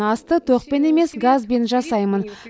асты тоқпен емес газбен жасаймын